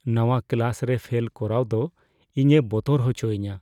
ᱱᱚᱣᱟ ᱠᱞᱟᱥ ᱨᱮ ᱯᱷᱮᱞ ᱠᱚᱨᱟᱣ ᱫᱚ ᱤᱧᱮ ᱵᱚᱛᱚᱨ ᱦᱚᱪᱚᱧᱟ ᱾